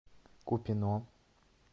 купино